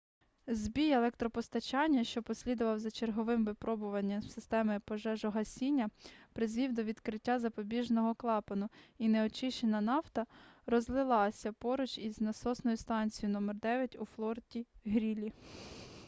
збій електропостачання що послідував за черговим випробуванням системи пожежогасіння призвів до відкриття запобіжного клапану і неочищена нафта розлилася поруч із насосною станцією № 9 у форті-грілі